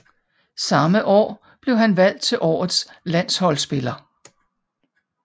Samme år blev han valgt til årets landsholdsspiller